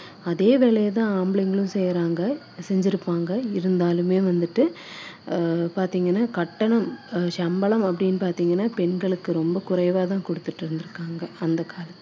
செஞ்சிருப்பாங்க இருந்தாலுமே வந்துட்டு அஹ் பாத்தீங்கன்னா கட்டணம் சம்பளம் அப்படின்னு பாத்தீங்கன்னா பெண்களுக்கு ரொம்ப குறைவா தான் கொடுத்துட்டு இருந்துருக்காங்க அந்த காலத்துல அஹ் அதுக்கப்புறமா பார்த்தீங்கன்னா கொஞ்சம்